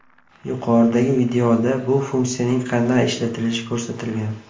Yuqoridagi videoda bu funksiyaning qanday ishlatilishi ko‘rsatilgan.